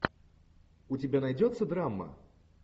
у тебя найдется драма